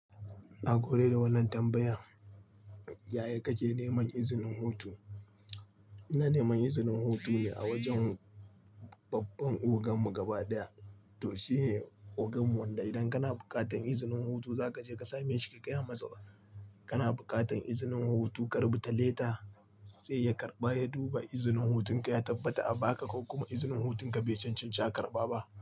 Na goyi da wannan tambayan. Yaya kake neman izinin hutu? Ina neman izinin hutu ne a wajan babban ogan mu gaba ɗaya. To shine ogan mu, wanda idan kana buƙatar izinin hutu zaka je ka same shi, ka gaya masa kana buƙatar izinin hutu, ka rubuta leta sai ya karɓa ya duba izinin hutun ka, ya tabbata a baka ko kuma izinin hutun ka bai cancanci a karɓa ba.